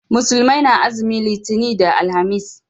Musulmai na azumin litani da alhamis